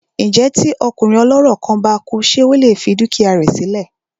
Ǹjẹ́ tí ọkùnrin ọlọ́rọ̀ kan bá kú ṣé ó lè fi dúkìá rẹ sí lẹ̀?